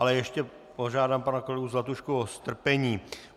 Ale ještě požádám pana kolegu Zlatušku o strpení.